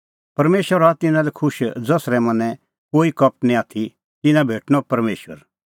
परमेशर हआ तिन्नां लै खुश ज़सरै मनैं कोई कपट निं आथी तिन्नां भेटणअ परमेशर